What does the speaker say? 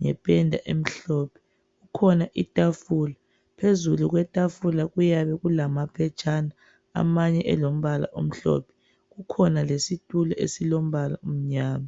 ngependa emhlophe. Kukhona itafula. Phezulu kwetafula kuyabe kulamaphetshana, amanye elombala omhlophe. Kukhona lesitulo, esilombala omnyama.